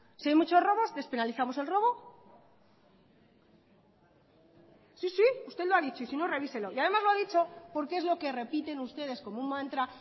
si hay muchos robos despenalizamos el robo sí sí usted lo ha dicho y sino revíselo y además lo ha dicho porque es lo que repiten ustedes como un mantra